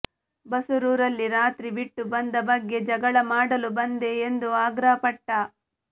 ಬಸರೂರಲ್ಲಿ ರಾತ್ರಿ ಬಿಟ್ಟು ಬಂದ ಬಗ್ಗೆ ಜಗಳಮಾಡಲು ಬಂದೆ ಎಂದು ಆಗ್ರಹಪಟ್ಟ